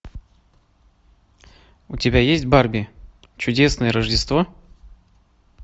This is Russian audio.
у тебя есть барби чудесное рождество